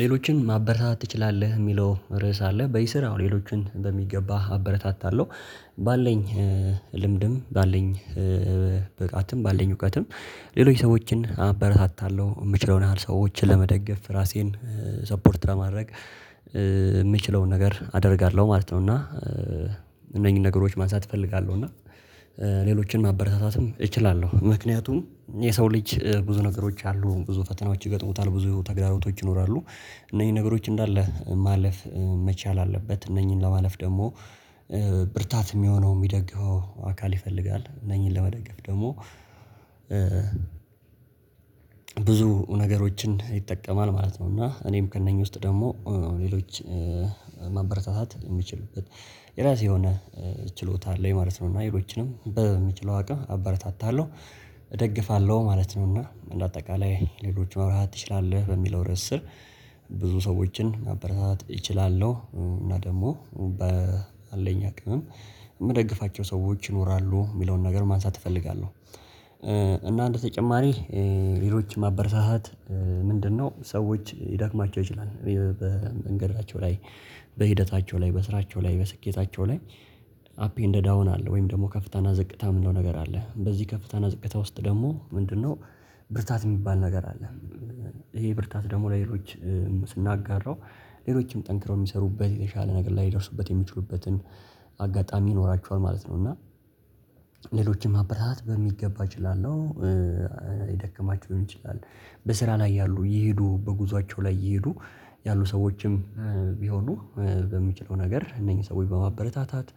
ሌሎችን ማበረታታት ትችላለህ የሚለው ርዕስ አለ። በዚህ ስራ ሌሎችን በሚገባ አበረታታለሁ። ባለኝ ልምድም ባለኝ ብቃትም ባለኝ እውቀትም ሌሎች ሰዎችን አበረታታለሁ የምችለውን ያህል ሰዎችን ለመደገፍ ራሴን ሰፖርት ለማድረግ የምችለውን ነገር አደርጋለሁ ማለት ነው እና እነኚህን ነገሮች ማንሳት እፈልጋለሁ እና ሌሎችን ማበረታታትም እችላለሁ። ምክንያቱም የሰው ልጅ ብዙ ነገሮች አሉ ብዙ ፈተናዎች ይገጥሙታል ብዙ ተግዳሮቶች ይኖራሉ እነኚ ነገሮች እንደለ ማለፍ መቻል አለበት። እነኝን ለማለፍ ደግሞ ብርታት የሚሆነው የሚደግፈው አካል ይፈልጋል። እነኚህን ለመደገፍ ደግሞ ብዙ ነገሮችን ይጠቀማል ማለት ነው እና እኔም ከእነኚህ ውስጥ ደግሞ ሌሎች ማበረታታት የምችልበት የራሴ የሆነ ችሎታ አለኝ ማለት ነው እና ሌሎችንም በምችለው አቅም አበረታታለሁ እደግፋለሁ ማለት ነው እና በአጠቃላይ ሌሎችም መበረታታት ትችላለህ በሚለው ርዕስ ስር ብዙ ሰዎችን ማበረታታት እችላለሁ እና ደግሞ በአለኝ አቅምም የምደግፋቸው ሰዎች ይኖራሉ የሚለውን ነገር ማንሳት እፈልጋለሁ። እና እንደተጨማሪ ሌሎች ማበረታታት ምንድነው ሰዎች ልዳክማቸው ይችላል ወይ በመንገዳቸው ላይ በሂደታቸው ላይ በስራቸው ላይ በስኬታቸው ላይ አፕ እንደ ዳውን አለ ወይም ደግሞ ከፍታና ዝቅታ የምንለው ነገር አለ። በዚህ ከፍታና ዝቅታ ውስጥ ደግሞ ምንድነው ብርታት የሚባል ነገር አለ። ይሄ ብርታት ደግሞ ለሌሎች ስናጋራው ሌሎችም ጠንክረው የሚሰሩበት የተሻለ ነገር ላይ ሊደርሱበት የሚችሉበትን አጋጣሚ ይኖራቸዋል ማለት ነው እና ሌሎችም መበረታታት በሚገባ እችላለሁ። ደክማቸው ይሆን ይችላል በስራ ላይ ያሉ እየሄዱ በጉዟቸው ላይ እየሄዱ ያሉ ሰዎችም ቢሆኑ በምችለው ነገር እነኚህ ሰው በማበረታታት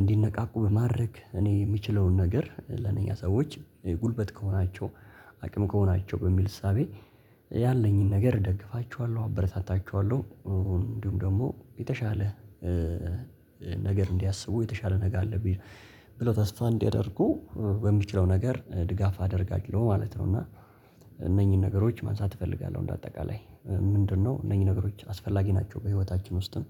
እንዲነቃቁ በማድረግ እኔ የምችለውን ነገር ለነኛ ሰዎች ጉልበት ከሆናቸው አቅም ከሆናቸው በሚል እሳቤ ያለኝን ነገር እደግፋችኋለሁ አበረታታችኋለሁ እንዲሁም ደግሞ የተሻለ ነገር እንዲያስቡ የተሻለ ነገር አለብኝ ብለው ተስፋ እንዲያደርጉ በሚችለው ነገር ድጋፍ አደርጋጅለው ማለት ነው እና እነኚህን ነገሮች ማንሳት እፈልጋለሁ እንደ አጠቃላይ። ምንድነው እነኚህ ነገሮች አስፈላጊ ናቸው በህይወታችን ውስጥም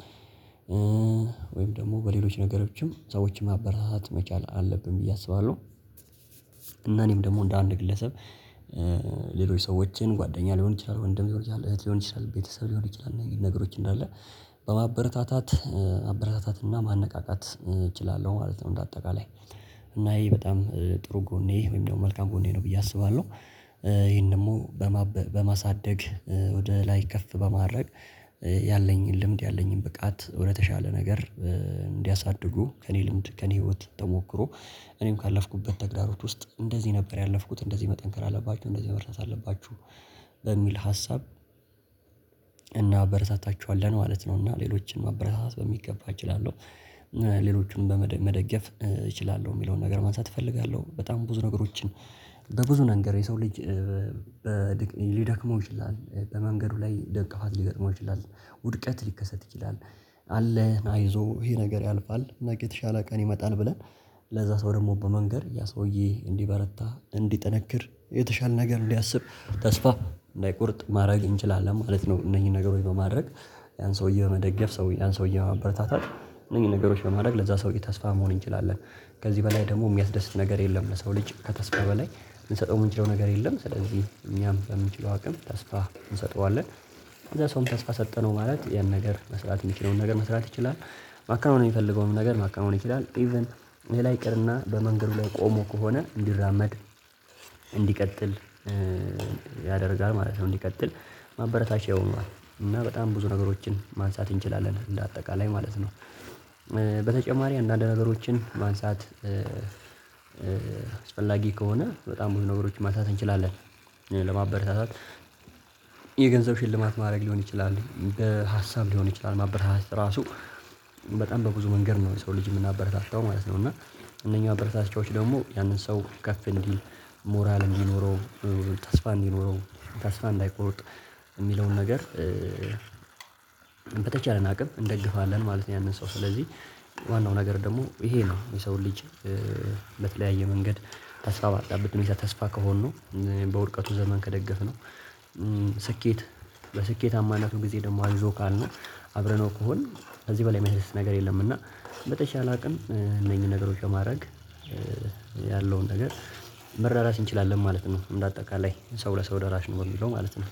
ወይም ደግሞ በሌሎች ነገሮችም ሰዎችን ማብራራት መቻል አለብን ብዬ አስባለሁ። እና እኔም ደግሞ እንደ አንድ ግለሰብ ሌሎች ሰዎችን ጓደኛ ሊሆን ይችላል፣ ወንድም እህት ሊሆን ይችላል ቤተሰብ ሊሆን ይችላል ነገሮች እንዳለ በማበረታታት መበረታታትና ማነቃቃት እችላለሁ ማለት ነው እንደ አጠቃላይ። እና ይሄ በጣም ጥሩ ጎኔ ወይም ደግሞ መልካም ጎኔ ነው ብዬ አስባለሁ። ይሄን ደግሞ በማሳደግ ወደ ላይ ከፍ በማድረግ ያለኝን ልምድ ያለኝን ብቃት ወደተሻለ ነገር እንዲያሳድጉ ከእኔ ልምድ ከእኔ ህይወት ተሞክሮ እኔም ካለፍኩበት ተግዳሮት ውስጥ እንደዚህ ነበር ያለፍኩት እንደዚህ መጠንከር አለባችሁ እንደዚህ መበረታታት አለባችሁ በሚል ሀሳብ እናበረሳታችኋለን ማለት ነው እና ሌሎችንም መበረታታት በሚገባ እችላለሁ። ሌሎቹንም በመደገፍ እችላለሁ የሚለውን ነገር ማንሳት እፈልጋለሁ። በጣም ብዙ ነገሮችን በብዙ ነገር የሰው ልጅ ሊደክመው ይችላል፣ በመንገዱ ላይ ደቀፋት ሊገጥመው ይችላል፣ ውድቀት ሊከሰት ይችላል፣ አለህ አይዞ ይሄ ነገር ያልፋል፣ ነጌ የተሻለ ቀን ይመጣል ብለን ለዛ ሰው ደግሞ በመንገር ያ ሰውዬ እንድበረታ፣ እንድጠነክር፣ የተሻለ ነገር እንድአስብ ተስፋ እንዳይቆርጥ ማድረግ እንችላለን ማለት ነው እነኚህን ነገሮች በማድረግ። ያን ሰውዬ በመደገፍ ሰውዬ ያን ሰውዬ መበረታታት እነኚህን ነገሮች በማድረግ ለዛ ሰውዬ ተስፋ መሆን እንችላለን። ከዚህ በላይ ደግሞ የሚያስደስት ነገር የለም ለሰው ልጅ ከተስፋ በላይ የምንሰጠው የምንችለው ነገር የለም። ስለዚህ እኛም በምንችለው አቅም ተስፋ እንሰጠዋለን። ከዛ ሰውን ተስፋ ሰጠነው ማለት ያን ነገር መስራት የሚችለውን ነገር መስራት ይችላል፣ ማክናወን የሚፈልገውን ነገር ማከናወን ይችላል። ኢቭን ሌላ ይቅርና በመንገዱ ላይ ቆሞ ከሆነ እንዲራመድ፣ እንዲቀጥል፣ ያደርጋል ማለት ነው እንዲቀጥል ማበረታቻ ይሆናል እና በጣም ብዙ ነገሮችን ማንሳት እንችላለን እንደ አጠቃላይ ማለት ነው። በተጨማሪ አንዳንድ ነገሮችን ማንሳት አስፈላጊ ከሆነ በጣም ብዙ ነገሮች ማንሳት እንችላለን ለማበረታታት የገንዘብ ሽልማት ማድረግ ሊሆን ይችላል፣ በሀሳብ ሊሆን ይችላል ማበረታታት እራሱ በጣም በብዙ መንገድ ነው የሰው ልጅ የምናበረታታው ማለት ነው እና እነኛው አበረታታቾች ደግሞ ያንን ሰው ከፍ እንዲል፣ ሞራል እንዲኖረው፣ ተስፋ እንዲኖረው ተስፋ እንዳይቆርጥ፣ የሚለውን ነገር በተቻልን አቅም እንደግፋለን ማለት ነው ያንን ሰው ስለዚህ ዋናው ነገር ደግሞ ይሄ ነው የሰውን ልጅ ለተለያየ መንገድ ተስፋ ባጣበት ተስፋ ከሆንን፣ በውድቀቱ ዘመን ከደገፍነው፣ ስኬት በስኬታማነቱ ጊዜ ደግሞ አግዞ ካልነው፣ አብረነው ከሆን ከዚህ በላይ የሚያስደስት ነገር የለም እና በተሻለ አቅም እነኚህን ነገሮች በማድረግ ያለውን ነገር መራራስ እንችላለን ማለት ነው እንደ አጠቃላይ ሰው ለሰው ደራሽ ነው የምለው ማለት ነው።